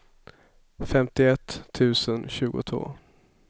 femtioett tusen tjugotvå